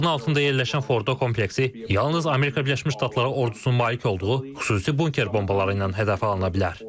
Dağın altında yerləşən Fordo kompleksi yalnız Amerika Birləşmiş Ştatları ordusuna malik olduğu xüsusi bunker bombaları ilə hədəf alına bilər.